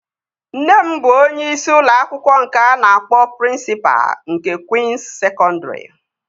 Nne m bụ onyeisi ụlọ akwụkwọ nke a na-akpọ prịnsịpa nke Kwịns Sekọndri